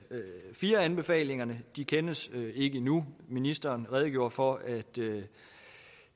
iv anbefalingerne de kendes ikke endnu ministeren redegjorde for at